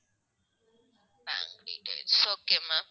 bank details, okay ma'am